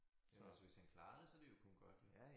Altså hvis han klarede så det jo kun godt